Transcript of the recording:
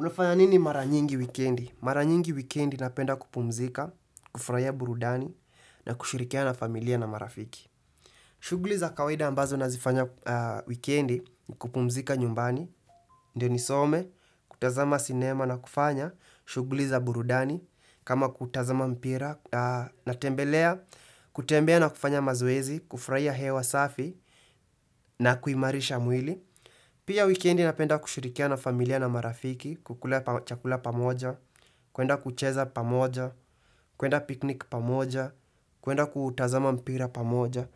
Unafanya nini mara nyingi wikendi? Mara nyingi wikendi napenda kupumzika, kufurahia burudani na kushirikiana na familia na marafiki. Shughuli za kawaida ambazo nazifanya wikendi ni kupumzika nyumbani, ndio nisome, kutazama sinema na kufanya, shughuli za burudani, kama kutazama mpira natembelea, kutembea na kufanya mazoezi, kufurahia hewa safi na kuimarisha mwili. Pia wikendi napenda kushirikiana na familia na marafiki, kukula chakula pamoja, kuenda kucheza pamoja, kuenda piknik pamoja, kuenda kutazama mpira pamoja.